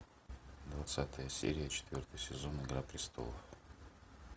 двадцатая серия четвертый сезон игра престолов